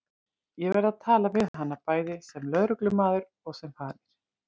Ég verð að tala við hana, bæði sem lögreglumaður og sem faðir.